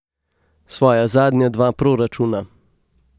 Svoja zadnja dva proračuna.